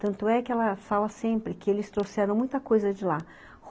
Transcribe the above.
Tanto é que ela fala sempre que eles trouxeram muita coisa de lá.